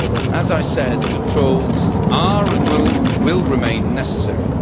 As I said, controls are, and will remain, necessary.